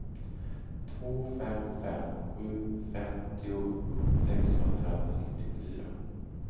två fem fem sju femtio sexhundranittiofyra